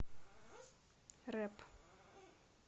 рэп